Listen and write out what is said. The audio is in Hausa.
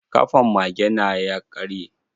Ƙafan mage na ya karye.